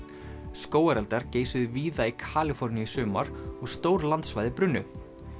skógareldar geisuðu víða í Kaliforníu í sumar og stór landsvæði brunnu